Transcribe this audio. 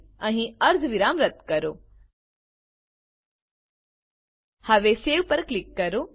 અહીં અર્ધવિરામ રદ્દ કરો હવે સવે પર ક્લિક કરો